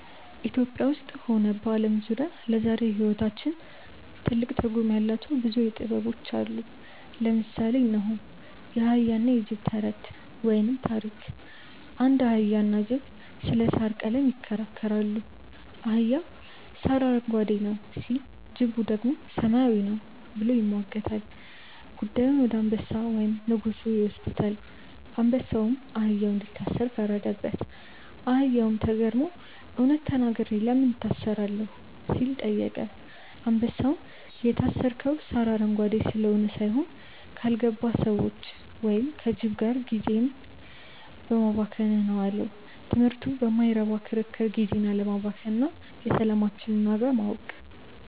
ኢትዮጵያ ውስጥም ሆነ በዓለም ዙሪያ ለዛሬው ሕይወታችን ትልቅ ትርጉም ያላቸው ብዙ ጥበቦች አሉ። ለምሳሌ እነሆ፦ የአህያና የጅብ ተረት (ታሪክ) አንድ አህያና ጅብ ስለ ሣር ቀለም ይከራከራሉ። አህያው "ሣር አረንጓዴ ነው" ሲል፣ ጅቡ ደግሞ "ሰማያዊ ነው" ብሎ ይሟገታል። ጉዳዩን ወደ አንበሳ (ንጉሡ) ይወስዱታል። አንበሳውም አህያውን እንዲታሰር ፈረደበት። አህያውም ተገርሞ "እውነት ተናግሬ ለምን እታሰራለሁ?" ሲል ጠየቀ። አንበሳውም "የታሰርከው ሣር አረንጓዴ ስለሆነ ሳይሆን፣ ካልገባቸው ሰዎች (ከጅብ) ጋር ጊዜህን በማባከንህ ነው" አለው። ትምህርቱ በማይረባ ክርክር ጊዜን አለማባከን እና የሰላማችንን ዋጋ ማወቅ።